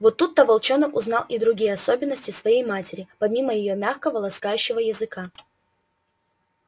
вот тут то волчонок узнал и другие особенности своей матери помимо её мягкого ласкающего языка